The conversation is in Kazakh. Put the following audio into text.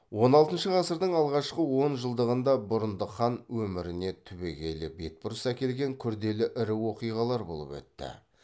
он алтыншы ғасырдың алғашқы он жылдығында бұрындық хан өміріне түбегейлі бетбұрыс әкелген күрделі ірі оқиғалар болып өтті